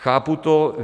Chápu to.